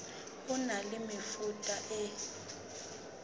ho na le mefuta e